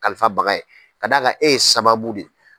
Kalifa baga ye ka d'a kan e ye sababu de ye.